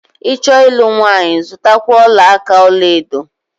Ị chọọ ịlụ nwanyị, zutakwa ọla aka ọlaedo.